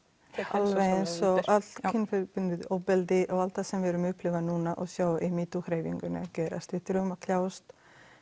alveg eins og allt kynbundið ofbeldi og allt það sem við erum að upplifa núna og sjá í metoo hreyfingunni að gerast við þurfum að kljást